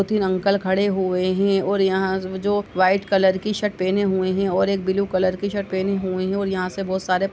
तीन अंकल खड़े हुए हैं और यहां जो वाइट कलर की शर्ट पहने हुए हैं और एक ब्लू कलर की शर्ट पहने हुए हैं और यहां से बोहत सारे --